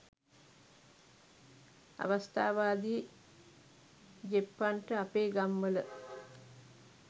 අවස්ථාවාදි ජෙප්පන්ට අපේ ගම් වල